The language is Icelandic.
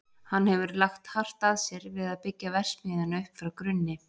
Hann hefur lagt hart að sér við að byggja verksmiðjuna upp frá grunni.